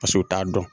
Paseke u t'a dɔn